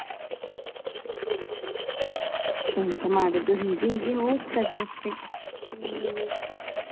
ಎಂತ ಮಾಡುದು ಹೀಗೆ ಹೀಗೆ ಹೋಗ್ತದೆ ಅಷ್ಟೆ.